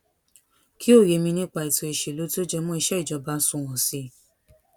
kí òye mi nípa ètò ìṣèlú tó jẹ mọ iṣé ìjọba sunwòn sí i